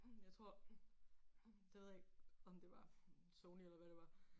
Jeg tror det ved jeg ikke om det var Sony eller hvad det var